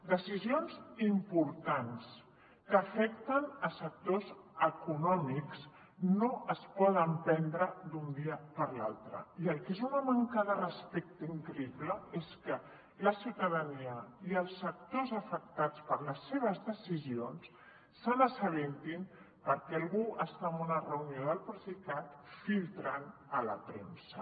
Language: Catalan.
decisions importants que afecten sectors econòmics no es poden prendre d’un dia per l’altre i el que és una manca de respecte increïble és que la ciutadania i els sectors afectats per les seves decisions se n’assabentin perquè algú està en una reunió del procicat filtrant a la premsa